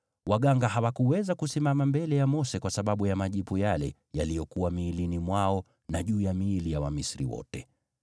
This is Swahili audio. Waganga hawakuweza kusimama mbele ya Mose kwa sababu ya majipu yale yaliyokuwa miilini mwao na juu ya miili ya Wamisri wote.